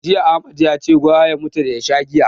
Jiya Ahmad yace gwara ya mutu da ya sha giya.